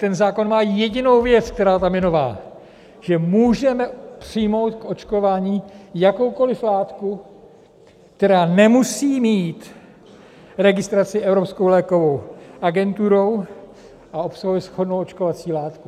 Ten zákon má jedinou věc, která tam je nová, že můžeme přijmout k očkování jakoukoliv látku, která nemusí mít registraci Evropskou lékovou agenturou a obsahuje shodnou očkovací látku.